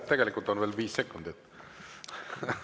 Tegelikult on veel viis sekundit.